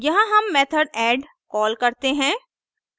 यहाँ हम method add call करते हैं